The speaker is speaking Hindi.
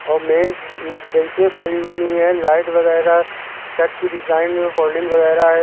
और मेज बेचें पड़ी हुई है लाइट वगैरा सेट की डिजाइन में फोल्डिंग वगैरा है।